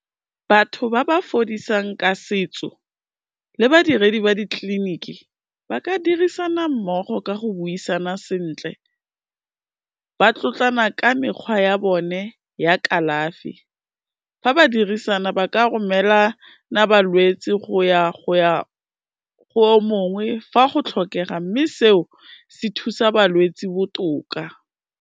Batho ba ba fodisang ka setso le badiredi ba ditleliniki, ba ka dirisana mmogo ka go buisana sentle, ba tlotlana ka mekgwa ya bone ya kalafi. Fa ba dirisana, ba ka romelana balwetsi go ya go o mongwe fa go tlhokega, mme seo se thusa balwetsi botoka.